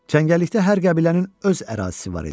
Cəngəllikdə hər qəbilənin öz ərazisi var idi.